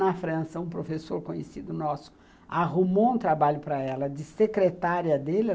Na França, um professor conhecido nosso arrumou um trabalho para ela de secretária dele.